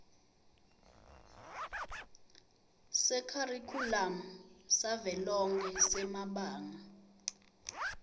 sekharikhulamu savelonkhe semabanga